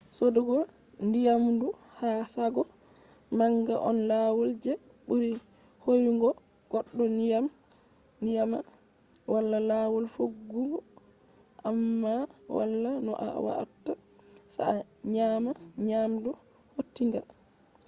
sodugo nyamdu ha shago manga on lawol je buri hoyugo goddo nyama. wala lawol defugo amma wala no a watta se a nyama nyamdu hautinga